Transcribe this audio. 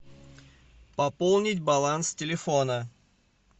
пополнить баланс телефона